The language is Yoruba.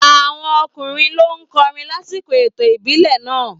Àwọn ọkùnrin ló *kọrin lásìkò ètò ìbílẹ̀ náà.